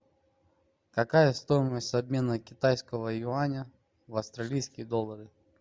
какая стоимость обмена китайского юаня в австралийские доллары